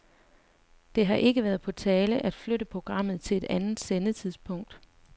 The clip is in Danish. Det har ikke været på tale at flytte programmet til et andet sendetidspunkt.